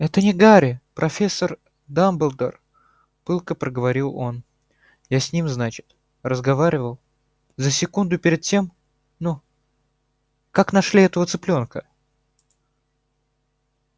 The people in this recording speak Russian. это не гарри профессор дамблдор пылко проговорил он я с ним значит разговаривал за секунду перед тем ну как нашли этого цыплёнка